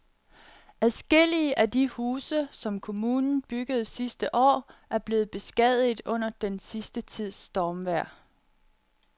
Adskillige af de huse, som kommunen byggede sidste år, er blevet beskadiget under den sidste tids stormvejr.